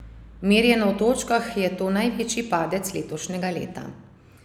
Merjeno v točkah je to največji padec letošnjega leta.